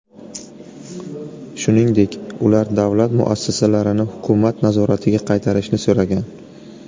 Shuningdek, ular davlat muassasalarini hukumat nazoratiga qaytarishni so‘ragan.